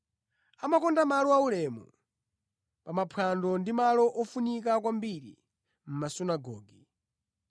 Amakonda malo aulemu pa maphwando ndi malo ofunika kwambiri mʼmasunagoge.